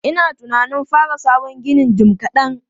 Ina tunanin fara sabon ginin jim kaɗan.